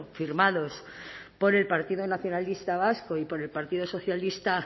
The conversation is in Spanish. firmados por el partido nacionalista vasco y por el partido socialista